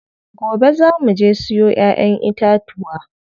Gobe zaa muje mu siyo ƴaƴen itatuwa.